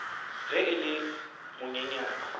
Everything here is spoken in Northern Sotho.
ge e le yo monyenyane